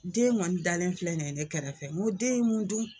Den kɔni dalen filɛ nin ye ne kɛrɛfɛ n ko den ye mun dun.